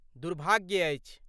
दुर्भाग्य अछि।